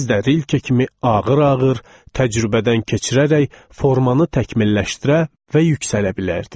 Biz də Rilke kimi ağır-ağır, təcrübədən keçirərək formanı təkmilləşdirə və yüksələ bilərdik.